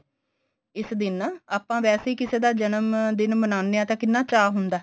ਇਸ ਦਿਨ ਆਪਾਂ ਵੈਸੇ ਕਿਸੇ ਦਾ ਜਨਮ ਦਿਨ ਮਨਾਉਣੇ ਆ ਤਾਂ ਕਿੰਨਾ ਚਾ ਹੁੰਦਾ